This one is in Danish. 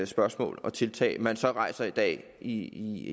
spørgsmål og tiltag som man så rejser i dag i